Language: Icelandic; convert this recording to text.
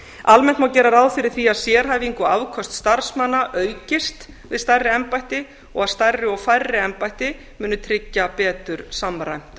almennt má gera ráð fyrir því að sérhæfing og afköst starfsmanna aukist við stærri embætti og að stærri og færri embætti muni tryggja betur samræmt